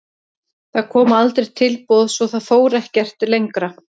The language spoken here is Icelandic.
Það koma aldrei tilboð svo það fór ekkert lengra.